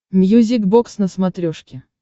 мьюзик бокс на смотрешке